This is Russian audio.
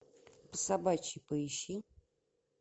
по собачьи поищи